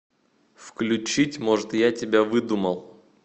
включить может я тебя выдумал